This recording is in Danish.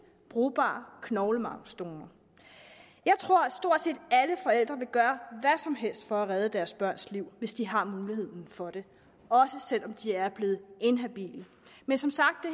brugbare knoglemarvsdonor jeg tror at stort set alle forældre vil gøre hvad som helst for at redde deres børns liv hvis de har muligheden for det også selv om de er blevet inhabile men som sagt